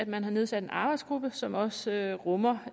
man har nedsat en arbejdsgruppe som også rummer